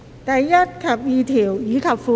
第1及2條，以及附表。